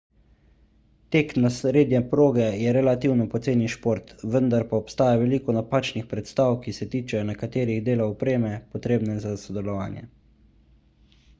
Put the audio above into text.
tek na srednje proge je relativno poceni šport vendar pa obstaja veliko napačnih predstav ki se tičejo nekaterih delov opreme potrebne za sodelovanje